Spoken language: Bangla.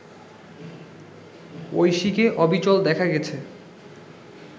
ঐশীকে অবিচল দেখা গেছে